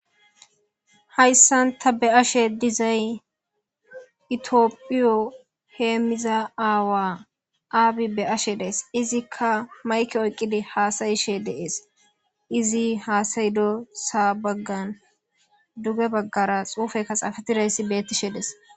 hayssanta be ashe dizay itiophiyo heemmiza aawa aabi be ashe dees izikka mayke oyqqidi haasayishe deees izi haasayido sa baggan duge baggara xuufekka xaafatidayssi bettishe des